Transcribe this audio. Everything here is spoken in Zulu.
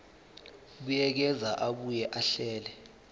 buyekeza abuye ahlele